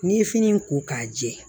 N'i ye fini ko k'a jɛ